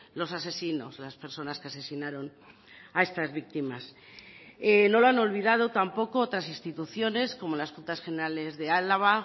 los asesinos las personas que asesinaron a estas víctimas no lo han olvidado tampoco otras instituciones como las juntas generales de álava